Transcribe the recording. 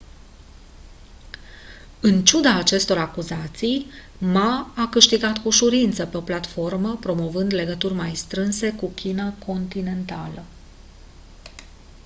în ciuda acestor acuzații ma a câștigat cu ușurință pe o platformă promovând legături mai strânse cu china continentală